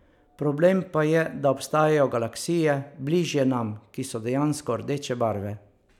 Problem pa je, da obstajajo galaksije bližje nam, ki so dejansko rdeče barve.